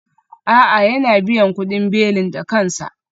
A'a, yana biyan kudin belin da kansa